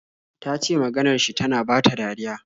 Ta ce maganar shi tana bata dariya.